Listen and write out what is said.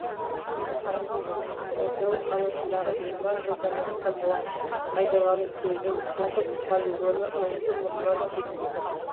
мәселен қызылорда қаласындағы жиырма жылдан астам уақыт пайдаланып келген қоқыс полигоны аузы мұрнынан шығып тұр